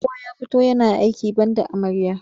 Kowa ya fito yana aiki banda amarya.